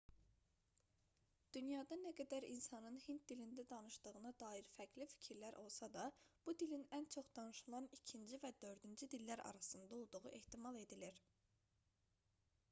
dünyada nə qədər insanın hind dilində danışdığına dair fərqli fikirlər olsa da bu dilin ən çox danışılan 2-ci və 4-cü dillər arasında olduğu ehtimal edilir